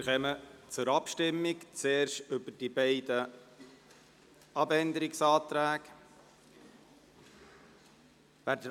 Wir kommen zur Abstimmung und stimmen zuerst über die beiden Abänderungsanträge ab.